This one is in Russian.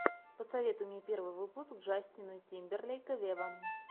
посоветуй мне первый выпуск джастина тимберлейка вево